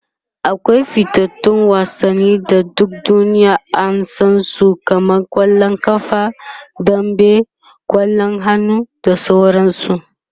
akwai fitattun wasanni da duk duniya an San su kamar kwallon ƙafa dambe, kwallon hannu da sauransu